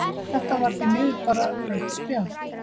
Þetta var því miður bara rautt spjald.